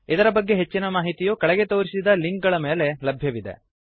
ಇದರ ಬಗ್ಗೆ ಹೆಚ್ಚಿನ ಮಾಹಿತಿಯು ಕೆಳಗೆ ತೋರಿಸಿದ ಲಿಂಕ್ ಗಳ ಮೇಲೆ ಲಭ್ಯವಿದೆ